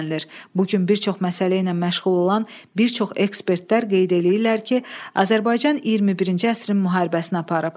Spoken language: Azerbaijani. Bugün bir çox məsələ ilə məşğul olan bir çox ekspertlər qeyd eləyirlər ki, Azərbaycan 21-ci əsrin müharibəsini aparıb.